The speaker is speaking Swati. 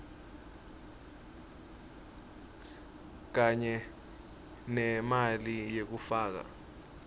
kanye nemali yekufaka